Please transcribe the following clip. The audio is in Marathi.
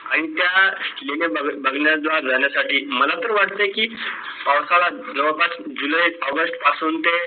आणि त्या लेण्या बघाय बघण्यास जाण्यासाठी मला तर वाटतंय की पावसाळ्यात जवळपास JULY AUGUST पासून ते